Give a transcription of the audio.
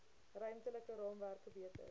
ruimtelike raamwerke beter